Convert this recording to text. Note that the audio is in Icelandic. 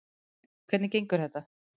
Hvernig gengur þetta?